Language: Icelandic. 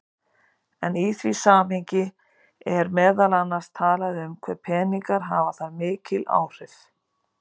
Í því samhengi er meðal annars talað um hve peningar hafi þar mikil áhrif.